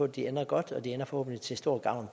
de ender godt og de ender forhåbentlig til stor gavn